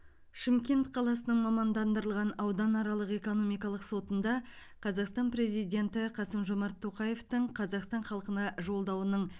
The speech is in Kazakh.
шымкент қаласының мамандандырылған ауданаралық экономикалық сотында қазақстан президенті қасым жомарт тоқаевтың қазақстан халқына жолдауының